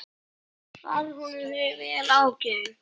Varð honum því vel ágengt.